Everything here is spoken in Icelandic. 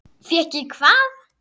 Fékk ég hvað?